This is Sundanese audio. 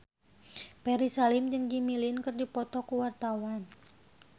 Ferry Salim jeung Jimmy Lin keur dipoto ku wartawan